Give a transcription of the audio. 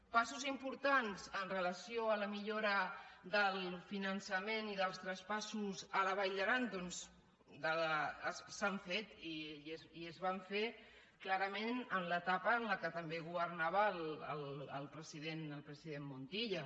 passos importants amb relació a la millora del finançament i dels traspassos a la vall d’aran doncs se n’han fet i es van fer clarament en l’etapa en què també governava el president montilla